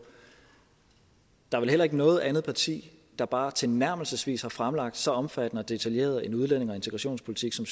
der er vel heller ikke noget andet parti der bare tilnærmelsesvis har fremlagt så omfattende og detaljeret en udlændinge og integrationspolitik som